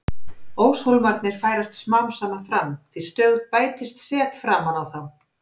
Óshólmarnir færast smám saman fram því stöðugt bætist set framan á þá.